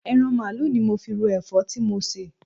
Eran mààálu ni mo fi ro èfó ti mo sè